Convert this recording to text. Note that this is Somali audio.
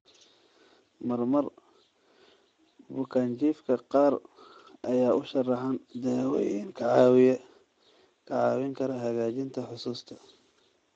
Marmar, bukaanjiifka qaar ayaa u sharaxan daawooyin kaa caawin kara hagaajinta xusuusta.